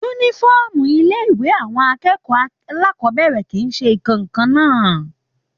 Uniform ilé ìwé àwọn akẹ́kọ̀ọ́ alákọbẹ̀rẹ̀ kìí se ǹkankan náà.